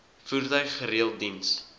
voertuig gereeld diens